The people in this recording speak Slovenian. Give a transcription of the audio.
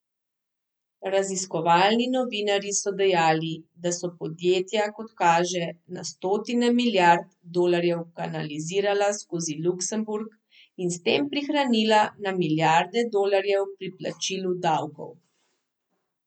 Raziskovalni novinarji so dejali, da so podjetja, kot kaže, na stotine milijard dolarjev kanalizirala skozi Luksemburg in s tem prihranila na milijarde dolarjev pri plačilu davkov.